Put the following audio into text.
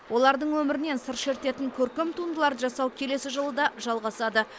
олардың өмірінен сыр шертетін көркем туындыларды жасау келесі жылы да жалғасады